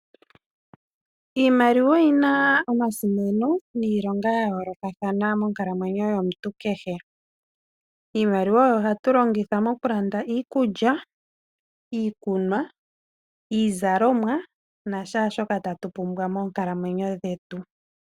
Iimaliwa oyina omasimano niilonga ya yoolokathana monkalamwenyo yomuntu kehe. Iimaliwa oyo hatu longitha moku landa iikulya, iikunwa, iizalomwa nashaashoka tatu pumbwa moonkalamwenyo dhetu.